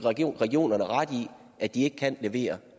regionerne ret i at de ikke kan levere